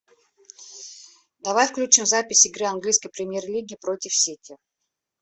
давай включим запись игры английской премьер лиги против сити